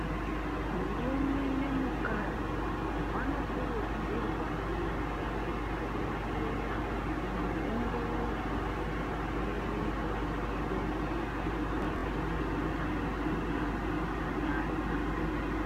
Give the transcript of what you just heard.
Murume nemukadzi vanokurudzirwa kuenda kuchibhedhleya kundoongororwa zvirwere zvepabonde zvidati zvatapukira zvakanyanya.